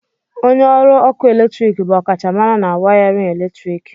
Onye ọrụ ọkụ eletrik bụ ọkachamara na wiwi eletrik.